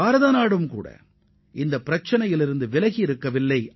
நம் நாடும் இதே பிரச்சினையை எதிர்கொண்டு வருகிறது